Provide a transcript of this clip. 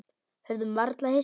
Höfðum varla hist.